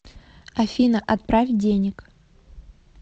афина отправь денег